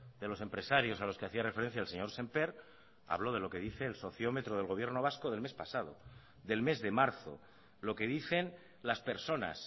de los empresarios a los que hacía referencia el señor sémper hablo de lo que dice el sociómetro del gobierno vasco del mes pasado del mes de marzo lo que dicen las personas